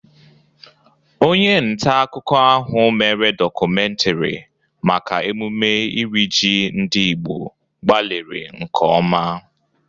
Onye nta akụkụ ahụ mere dọkumentiri maka emume iri ji ndị Igbo gbalịrị nke ọma.